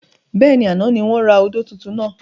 Bẹ́ẹ̀ni, àná ni wọn ra odò tuntun náà.